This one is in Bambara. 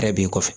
Yɛrɛ b'i kɔfɛ